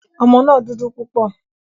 Ọmọ náà dúdú púpọ̀.